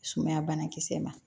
Sumaya banakisɛ ma